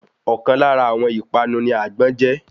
Ọ̀kan lára àwọn ìpanu ní àgbọ́n je